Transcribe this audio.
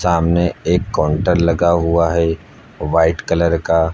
सामने एक काउंटर लगा हुआ है वाइट कलर का।